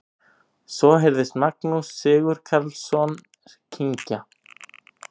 Svo heyrðist Magnús Sigurkarlsson kyngja.